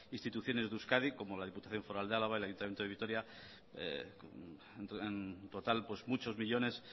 instituciones de euskadi como la diputación foral de álava el ayuntamiento de vitoria en total muchos millónes